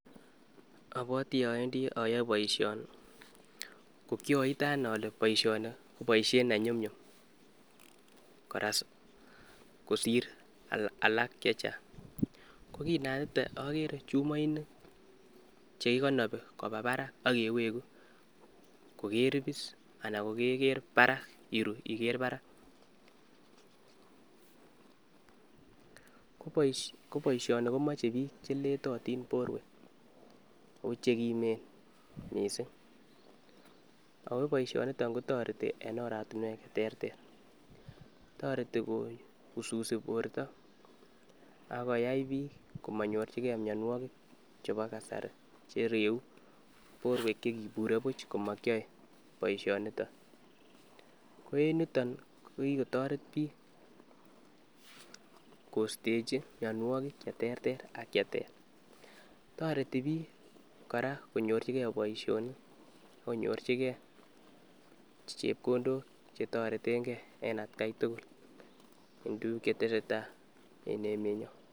Abwati aendi ayoe boisioni ko kyoite ane ale boisioni ko boisiet ne nyumnyum koras kosir alak che chang, ko kinaitite akere chumoinik che kikonobi koba barak ak keweku kokeripis anan kokeker barak iru iker barak, ko boisioni komoche piik che letotin borwek, ako che kimen mising, ako boisioniton kotoreti en oratinwek che terter, toreti kowususi borta akoyai piik komanyorchikei mionwogik che bo kasari che reu borwek che kibure buch ko makyae boisioniton, ko en niton ko kikotoret piik koistechi mionwogik che terter ak cheter, toreti piik kora konyorchikei boisionik ak konyorchikei chepkondok che toretenkei en atkai tugul, en tukuk che tesetai en emenyo.